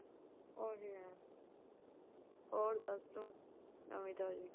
ਉਹੀ ਏ ਹੋਰ ਦੱਸ ਤੂੰ ਨਵੀਂ ਤਾਜ਼ੀ।